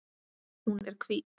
Hún er hvít.